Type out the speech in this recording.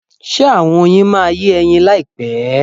Ṣe àwọn oyin yìí máa yé ẹyin láyìpẹ́?